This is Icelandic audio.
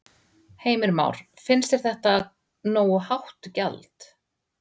Heimir Már: Finnst þér þetta nógu hátt gjald?